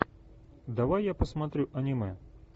давай я посмотрю аниме